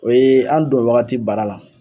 O yee an don wagati baara la